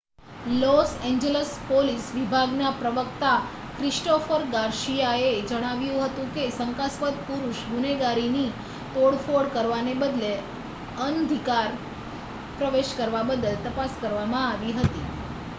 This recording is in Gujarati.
લોસ એન્જેલસ પોલીસ વિભાગના પ્રવક્તા ક્રિસ્ટોફર ગાર્સિયાએ જણાવ્યું હતું કે શંકાસ્પદ પુરુષ ગુનેગારની તોડફોડ કરવાને બદલે અનધિકાર પ્રવેશ કરવા બદલ તપાસ કરવામાં આવી રહી